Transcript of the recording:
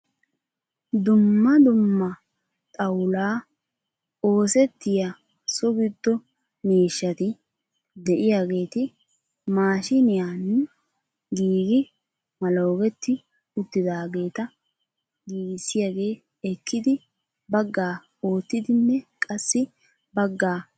Dumma dumma xawulaa osettiyaa so giddo miishshati de'iyaageeti maashiniyaani giigi maloogetti uttidaageta giigisiyaagee ekkidi baggaa oottidinne qassi baggaa godaara essi uttiis.